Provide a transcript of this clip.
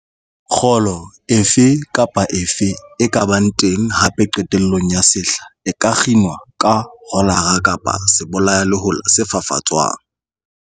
Kgolo efe kapa efe e ka bang teng hape qetellong ya sehla e ka kginwa ka rolara kapa ka sebolayalehola se fafatswang.